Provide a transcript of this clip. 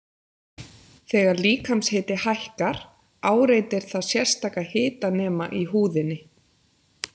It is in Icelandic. Þegar líkamshiti hækkar áreitir það sérstaka hitanema í húðinni.